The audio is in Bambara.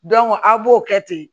a' b'o kɛ ten